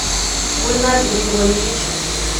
гульназ григорьевич